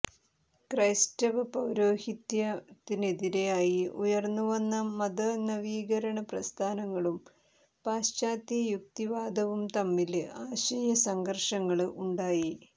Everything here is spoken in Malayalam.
ക്രൈസ്തവ പൌരോഹിത്യത്തിനെതിരായി ഉയര്ന്നു വന്ന മതനവീകരണ പ്രസ്ഥാനങ്ങളും പാശ്ചാത്യ യുക്തിവാദവും തമ്മില് ആശയ സംഘര്ഷങ്ങള് ഉണ്ടായി